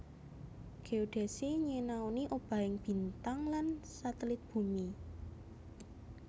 Géodesi nyinaoni obahing bintang lan satelit bumi